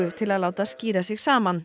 til að láta skíra sig saman